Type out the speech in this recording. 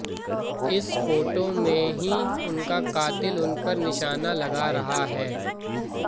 इस फोटो में ही उनका कातिल उन पर निशाना लगा रहा है